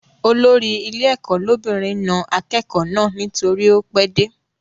Olórí ilé ẹ̀kọ́ lóbìnrin na akẹ́kọ̀ọ́ náà nítorí ó pẹ́ dé